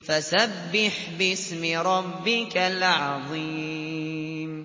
فَسَبِّحْ بِاسْمِ رَبِّكَ الْعَظِيمِ